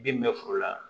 Bin bɛ foro la